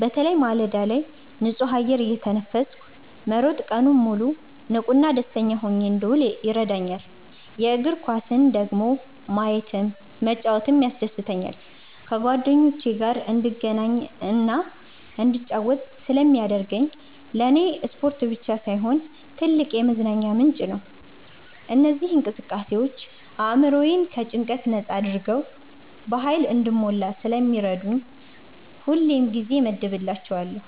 በተለይ ማለዳ ላይ ንጹህ አየር እየተነፈስኩ መሮጥ ቀኑን ሙሉ ንቁና ደስተኛ ሆኜ እንድውል ይረዳኛል። የእግር ኳስን ደግሞ ማየትም መጫወትም ያስደስተኛል። ከጓደኞቼ ጋር እንድገናኝና እንድጫወት ስለሚያደርገኝ ለኔ ስፖርት ብቻ ሳይሆን ትልቅ የመዝናኛ ምንጭ ነው። እነዚህ እንቅስቃሴዎች አእምሮዬን ከጭንቀት ነጻ አድርገው በሃይል እንድሞላ ስለሚረዱኝ ሁሌም ጊዜ እመድብላቸዋለሁ።